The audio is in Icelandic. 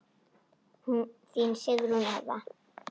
Þín Sigrún Eva.